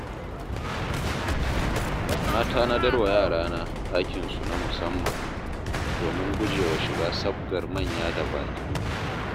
Na tanadar wa yarana ɗakinsu na musamman, domin gujewa shiga sabgar manya da baƙi.